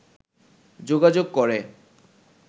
যোগাযোগ করে